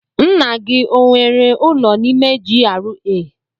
Nna gị o nwere ụlọ n'ime GRA?